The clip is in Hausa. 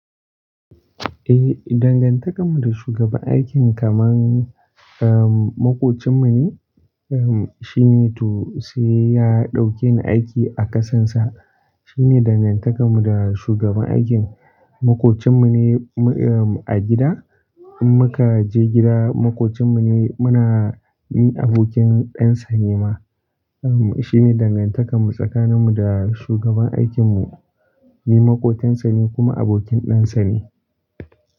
Eh, dangantakar mu da shugaban aikin kamar, um, makocin mu ne. Um, shi ne to, sai ya dauke ni aiki a ƙasarsa. Shi ne dangantakar mu da shugaban aikin. Makocin mu ne, um, a gida. In muka je gida makocin mu ne muna, ni abokin ɗan sa ne ma. Um, shi ne dangantakar mu tsakanin mu da shugaban aikin mu. Ni makotan sa ne kuma abokin ɗan sa ne.